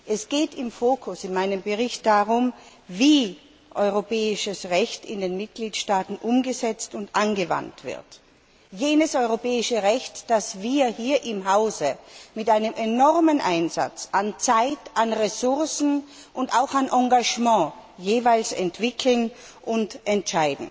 Es geht im Fokus in meinem Bericht darum, wie europäisches Recht in den Mitgliedstaaten umgesetzt und angewandt wird jenes europäische Recht, das wir hier im Hause mit einem enormen Einsatz an Zeit, an Ressourcen und auch an Engagement jeweils entwickeln und verabschieden.